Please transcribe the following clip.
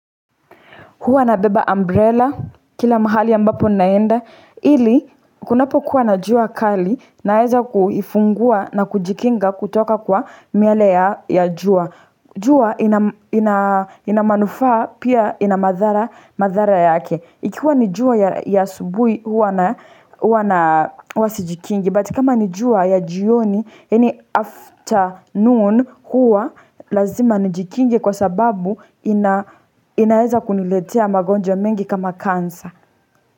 Huwa nabeba umbrella, kila mahali ambapo naenda. Ili, kunapokuwa na jua kali, naeza kuifungua na kujikinga kutoka kwa miale ya jua. Jua ina manufaa, pia ina madhara yake. Ikiwa ni jua ya asubuhi huwa na huwa sijikingi. But kama ni jua ya jioni yaani afternoon huwa lazima nijikinge kwa sababu inaweza kuniletea magonjwa mengi kama kansa.